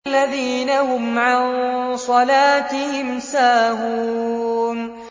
الَّذِينَ هُمْ عَن صَلَاتِهِمْ سَاهُونَ